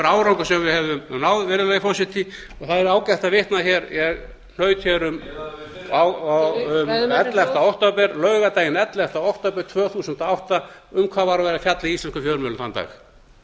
einhver árangur sem við hefðum náð virðulegi forseti og það er ágætt að vitna ég hnaut um laugardaginn ellefta október tvö þúsund og átta um hvað var verið að fjalla í íslenskum fjölmiðlum þann dag